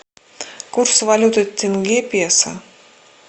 курс валюты тенге песо